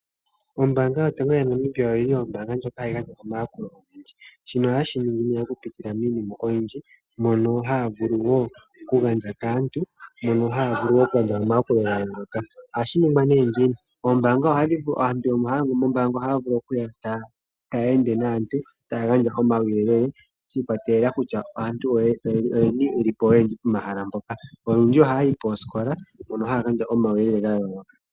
Ombaanga Yotango yoPashigwana omayakulo ogendji. Shika ohaye shi ningi nduno okupitila miinima oyindji mono haya vulu wo okugandja kaantu omayakulo ga yooloka. Ohashi ningwa nduno ngiini? Aantu mbono haya longo moombanga ohaya vulu okukala taya ende taya gandja omauyelele naantu shi ikwatelela kutya aantu oyeni ye li po oyendji pomahala mpoka. Olundji ohaya yi poosikola mpoka haya gandja omauyelele ga yooloka.